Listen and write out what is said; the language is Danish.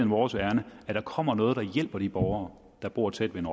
vores ærinde at der kommer noget der hjælper de borgere der bor tæt ved